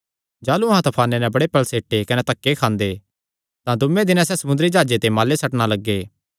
जाह़लू अहां तफाने नैं बड़े पल़सेटे कने धक्के खांदे तां दूये दिने सैह़ समुंदरी जाह्जे दे माले सट्टणा लग्गे